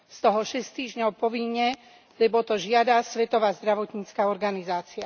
Z toho 6 týždňov povinne, lebo to žiada Svetová zdravotnícka organizácia.